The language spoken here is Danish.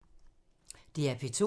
DR P2